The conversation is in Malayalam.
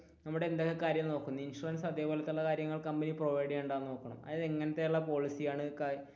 നമ്മുടെ എന്തൊക്കെ കാര്യം നോക്കും ഇൻഷുറൻസ് അതേപോലത്തെയുള്ള കാര്യങ്ങൾ കമ്പനി provide ചെയ്യുന്നുണ്ടോ എന്ന് നോക്കണം അതായത് ഇങ്ങനത്തെ ഉള്ള പോളിസി ആണ്,